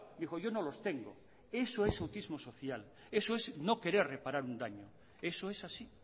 dijo yo no los tengo eso es autismo social eso es no querer reparar un daño eso es así